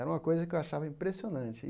Era uma coisa que eu achava impressionante.